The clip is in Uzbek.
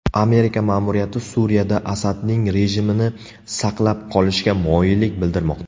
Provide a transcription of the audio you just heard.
Amerika ma’muriyati Suriyada Asadning rejimini saqlab qolishga moyillik bildirmoqda.